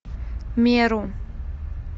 меру